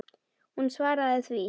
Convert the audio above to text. Hún svaraði því.